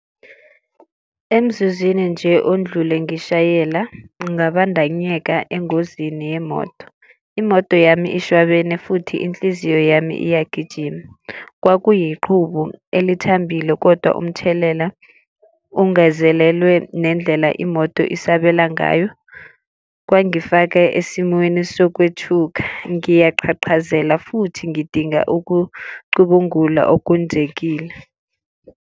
Emzuzwini nje ondlule ngishayela bangabandanyeka engozini yemoto. Imoto yami ishwabene futhi inhliziyo yami iyagijima. Kwakuyiqhubu elithambile kodwa umthelela ungazelelwe ngendlela imoto isabela ngayo. Kwangifake esimweni sokwethula ngiyaqhaqhazela futhi ngidinga ukucubungula okwenzekile.